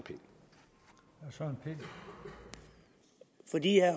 herre